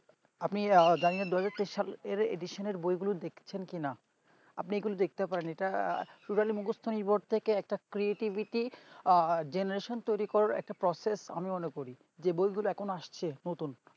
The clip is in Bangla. আপনি এর Edison বইগুলো দেখেছেন কি না আমি এখন দেখতে পারেন ইটা totally মুকস্ত নির্ভর থেকে একটা creativity আহ generation তৈরী করার একটা process আমি মনে করি যে বই গুলো এখন আসছে নতুন